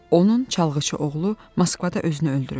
Onun çalğıçı oğlu Moskvada özünü öldürüb.